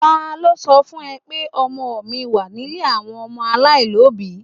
Ta ló sọ fún ẹ pé ọmọ mi wà nílé àwọn ọmọ aláìlóbìí?